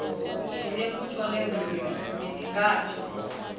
tshinefu tshone ri ri mini ngatsho